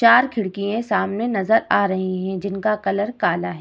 चार खिड़किए सामने नजर आ रही है जिनका कलर काला है।